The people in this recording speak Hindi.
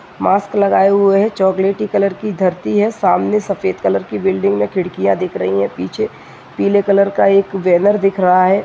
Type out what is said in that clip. मास्क लगाए हुए चोकलेटी कलर की धरती है । सामने सफेद कलर की बिल्डिंग है खिड़कियाँ दिख रही है पीछे पीले कलर का बेनर दिख रहा है ।